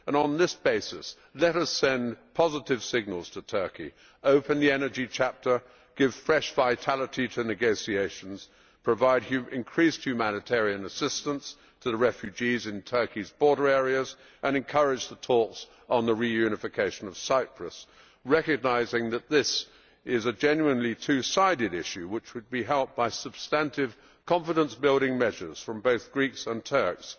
On this basis, let us send positive signals to Turkey, open the energy chapter, give fresh vitality to negotiations, provide increased humanitarian assistance to the refugees in Turkey's border areas and encourage the talks on the reunification of Cyprus, recognising that this is a genuinely two sided issue which would be helped by substantive confidence building measures from both Greeks and Turks.